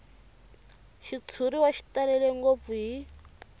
xitshuriwa xi talele ngopfu hi